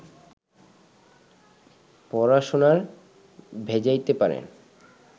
পড়াশুনায় ভেজাইতে পারেন